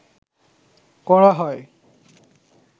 করা হয়